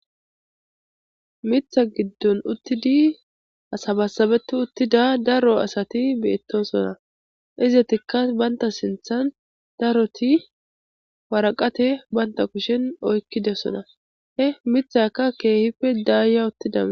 Mitha giddon uttidi asabassabetu uttida daro asati beettonsona izatikka banta sinthan daroti waraqate banta kushen oykkide sona he mithaka keehife daaya uttidaa